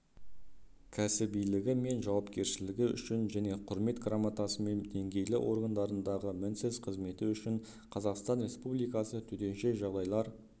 кәсібилігі мен жауапкершілігі үшін және құрмет грамотасымен деңгейлі органдарындағы мінсіз қызметі үшін қазақстан республикасы төтенше жағдайлар